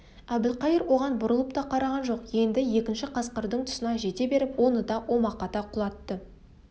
әбілқайыр оған бұрылып та қараған жоқ енді екінші қасқырдың тұсына жете беріп оны да омақата құлатты